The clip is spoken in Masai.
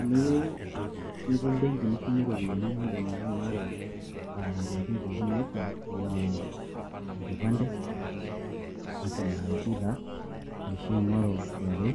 Eniyieu nitum benki nishumie eropiyiani naa eedim ake aing'oru aa entokin pooki naifaa enaa eng'ipande, National Id taa edim sii aing'oru sii KRA,